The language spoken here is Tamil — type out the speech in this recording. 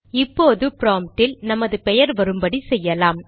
இப்போது ப்ராம்ப்டில் நமது பெயர் வரும்படி செய்யலாம்